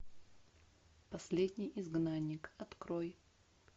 последний изгнанник открой